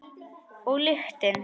Og lyktin.